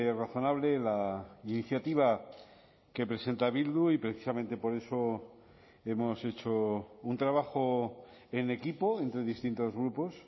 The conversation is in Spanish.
razonable la iniciativa que presenta bildu y precisamente por eso hemos hecho un trabajo en equipo entre distintos grupos